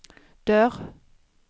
dörr